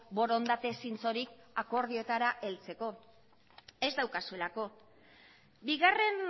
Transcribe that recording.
borondate zintzorik akordioetara heltzeko ez daukazuelako bigarren